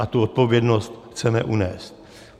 A tu odpovědnost chceme unést.